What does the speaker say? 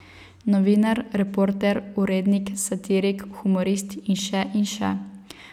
Novinar, reporter, urednik, satirik, humorist in še in še.